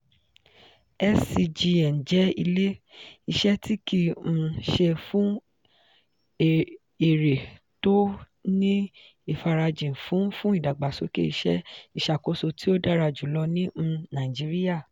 scgn jẹ́ ilé-iṣẹ́ tí kìí um ṣe-fún-èrè tó ní ìfarajìn fún fún ìdàgbàsókè ìṣe ìṣàkóso tí ó dára jùlọ ní um nàìjíríà.